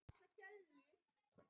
Af veirunni eru margir stofnar.